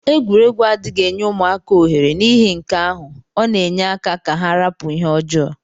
Egwuregwu adighi enye ụmaka ohere nihi nkea ahu ọna enye aka ka ha rapu ihe ọjọ.